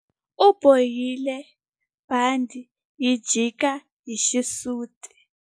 U bohile bandhi ri jika hi xisuti.